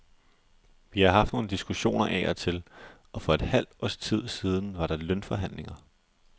Vi har haft nogle diskussioner af og til, og for et halvt års tid siden var der lønforhandlingerne.